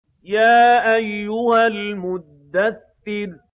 يَا أَيُّهَا الْمُدَّثِّرُ